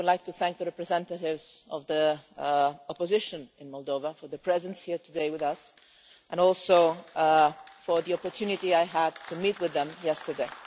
I would like to thank the representatives of the opposition in Moldova for their presence here with us today, and also for the opportunity I had to meet with them yesterday.